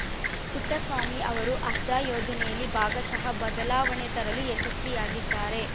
ಪುಟ್ಟಸ್ವಾಮಿ ಅವರು ಆಧಾರ್‌ ಯೋಜನೆಯಲ್ಲಿ ಭಾಗಶಃ ಬದಲಾವಣೆ ತರಲು ಯಶಸ್ವಿಯಾಗಿದ್ದಾರೆ